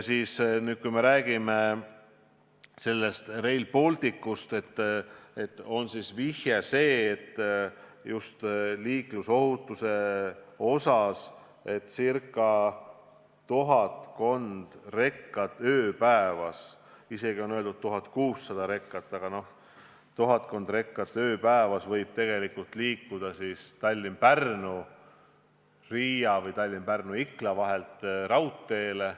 Kui me räägime Rail Balticust, siis just liiklusohutusega seoses võib tuhatkond rekat ööpäevas – isegi on öeldud, et 1600 rekat, aga noh, tuhatkond rekat ööpäevas – tegelikult liikuda Tallinna–Pärnu–Riia või Tallinna–Pärnu–Ikla vahelt raudteele.